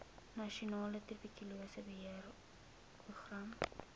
nasionale tuberkulose beheerprogram